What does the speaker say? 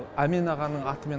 әмен ағаның атымен